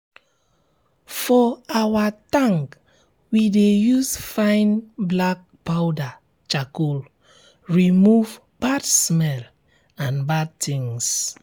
for our tank we dey use fine black powder charcoal remove bad smell and bad things